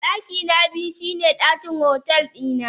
Dakina biyu shine dakin otel dina.